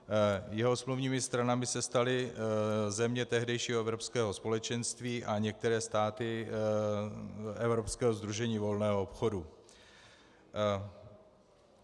Jeho smluvními stranami se staly země tehdejšího Evropského společenství a některé státy Evropského sdružení volného obchodu.